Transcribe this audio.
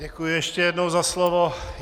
Děkuji ještě jednou za slovo.